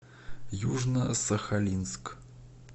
южно сахалинск